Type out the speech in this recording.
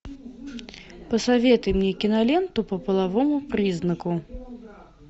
посоветуй мне киноленту по половому признаку